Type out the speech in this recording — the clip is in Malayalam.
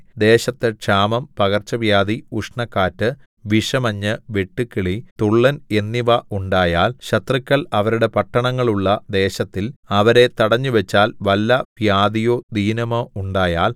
ദേശത്ത് ക്ഷാമം പകർച്ചവ്യാധി ഉഷ്ണക്കാറ്റ് വിഷമഞ്ഞ് വെട്ടുക്കിളി തുള്ളൻ എന്നിവ ഉണ്ടായാൽ ശത്രുക്കൾ അവരുടെ പട്ടണങ്ങളുള്ള ദേശത്തിൽ അവരെ തടഞ്ഞുവച്ചാൽ വല്ല വ്യാധിയോ ദീനമോ ഉണ്ടായാൽ